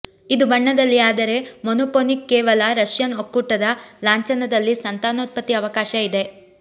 ಇದು ಬಣ್ಣದಲ್ಲಿ ಆದರೆ ಮೊನೊಫೊನಿಕ್ ಕೇವಲ ರಷ್ಯನ್ ಒಕ್ಕೂಟದ ಲಾಂಛನದಲ್ಲಿ ಸಂತಾನೋತ್ಪತ್ತಿ ಅವಕಾಶ ಇದೆ